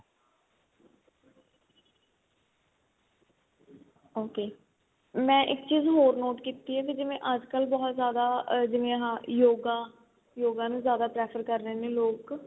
ok ਮੈਂ ਇੱਕ ਚੀਜ ਹੋਰ note ਕੀਤੀ ਏ ਕੀ ਜਿਵੇਂ ਅੱਜਕਲ ਬਹੁਤ ਜਿਆਦਾ ਆ ਜਿਵੇਂ ਹਾਂ ਯੋਗਾ ਯੋਗਾ ਨੂੰ ਜਿਆਦਾ prefer ਕਰ ਰਹੇ ਨੇ ਲੋਕ